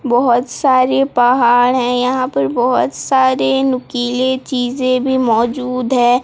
बहोत सारी पहाड़ है यहां पर बहोत सारे नुकीले चीजे भी मौजूद है।